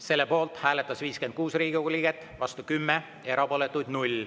Selle poolt hääletas 56 Riigikogu liiget, vastu 10, erapooletuid 0.